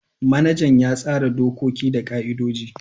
Manajan ya tsara dokoki da ka'idoji.